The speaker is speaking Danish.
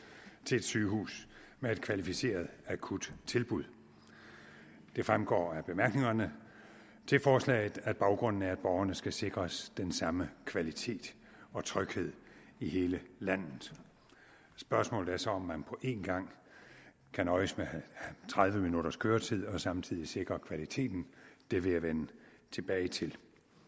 til et sygehus med et kvalificeret akuttilbud det fremgår af bemærkningerne til forslaget at baggrunden er at borgerne skal sikres den samme kvalitet og tryghed i hele landet spørgsmålet er så om man kan nøjes med tredive minutters køretid og samtidig sikre kvaliteten det vil jeg vende tilbage til